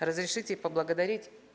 разрешите поблагодарить